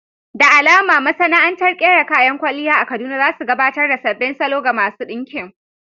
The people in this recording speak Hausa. Da alama masana'antar ƙera kayan kwalliya a Kaduna za su gabatar ta sabbin salo ga masu ɗinkin.